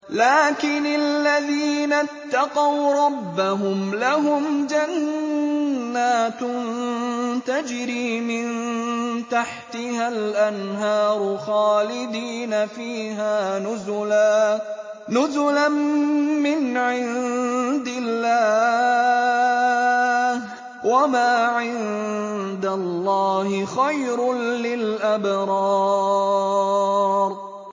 لَٰكِنِ الَّذِينَ اتَّقَوْا رَبَّهُمْ لَهُمْ جَنَّاتٌ تَجْرِي مِن تَحْتِهَا الْأَنْهَارُ خَالِدِينَ فِيهَا نُزُلًا مِّنْ عِندِ اللَّهِ ۗ وَمَا عِندَ اللَّهِ خَيْرٌ لِّلْأَبْرَارِ